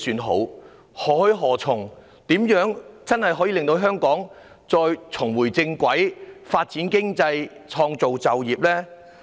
如何做才能真正令香港重回正軌、發展經濟、創造就業呢？